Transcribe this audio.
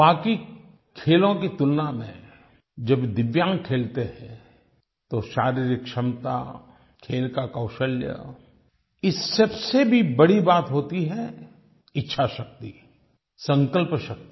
बाकी खेलों की तुलना में जब दिव्यांग खेलते हैं तो शारीरिक क्षमता खेल का कौशल्य इस सबसे भी बड़ी बात होती है इच्छा शक्ति संकल्प शक्ति